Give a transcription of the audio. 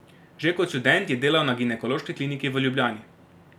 Že kot študent je delal na Ginekološki kliniki v Ljubljani.